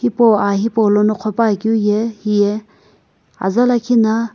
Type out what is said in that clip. hipau aa hipaulono qhopuakeu ye hiye aza lakhi na.